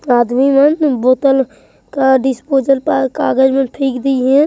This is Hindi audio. आदमी मन बोतल का डिस्पोसल कागज मे फेक दी हैं।